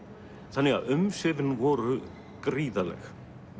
þannig að umsvifin voru gríðarleg